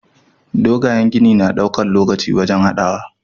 Dogayen gini na ɗaukan lokaci wajan hadawa